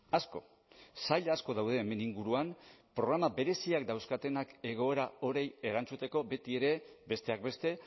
asko sail asko daude hemen inguruan programa bereziak dauzkatenak egoera horie erantzuteko betiere besteak beste